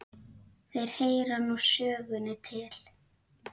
Þeir heyra nú sögunni til.